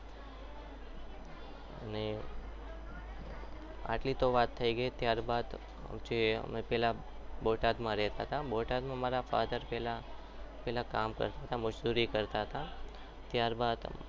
અને આટલી તો વાત થઈ ત્યારબાદ જ્યારે અમે બોટાદમાં રહેતા હતા ત્યારબાદ મારા father પહેલા કામ કરતા હતા મજૂરી કરતા હતા.